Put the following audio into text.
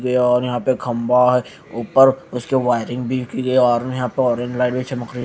ये गया और यहां पे खंबा है ऊपर उसके वायरिंग भी की यार यहां पर ऑरेंज लाइट भी चमक रही--